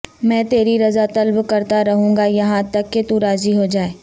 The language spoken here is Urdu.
میں تیری رضا طلب کرتارہونگا یہاں تک کہ تو راضی ہوجائے